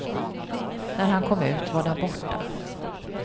När han kom ut var den borta.